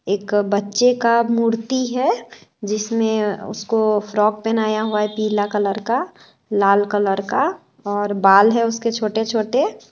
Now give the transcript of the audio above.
एक्क बच्चे का मूर्ति है जिसमें उसको फ्रॉक पहनाया हुआ है पीला कलर का लाल कलर का और बाल है उसके छोटे-छोटे।